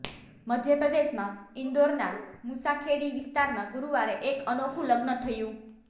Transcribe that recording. મધ્યપ્રદેશમાં ઈન્દોરના મુસાખેડી વિસ્તારમાં ગુરૂવારે એક અનોખું લગ્ન થયું